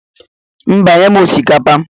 Mba, nye'm osikapa.